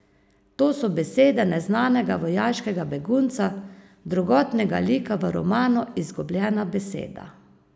To so besede neznanega vojaškega begunca, drugotnega lika v romanu Izgubljena beseda.